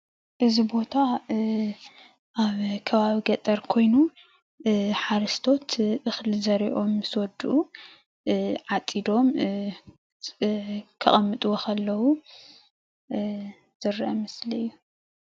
እዚ ቦታ ኣብ ከባቢ ገጠር ኮይኑ ሓረስቶት እክሊ ዘሪኦም ምስ ወድኡ ዓፂዶም ከቅምጥዎ ከለው ዝርአ ምስሊ እዩ፡፡